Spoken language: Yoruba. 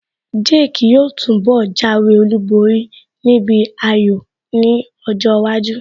Jake yóò túnbọ̀ jáwé olúborí níbi ayò ní ọjọ́ iwájú